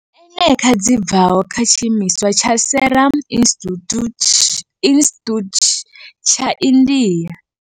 eneca dzi bvaho kha tshiimiswa tsha Serum Institute tsha India.